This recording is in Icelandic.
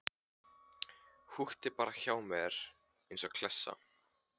Húkti bara hjá mér eins og klessa.